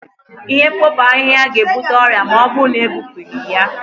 Ihe mkpofu ahịhịa ga-ebute ọrịa ma ọ bụrụ na ebupụghị ya